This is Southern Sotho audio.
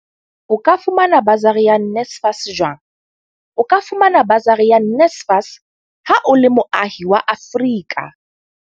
O ka fumana basari ya NSFAS jwang O ka fumana basari ya NSFAS ha o le moahi wa Afrika.